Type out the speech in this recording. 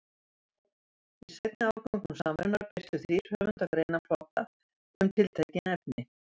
Í seinni árgöngum Samvinnunnar birtu þrír höfundar greinaflokka um tiltekin efni.